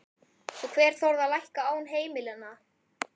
Og hver þorði að lækka lán heimilanna?